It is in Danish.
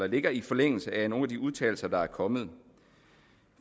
ligger i forlængelse af nogle af de udtalelser der er kommet